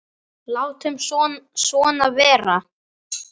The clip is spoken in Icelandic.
Látum svona vera.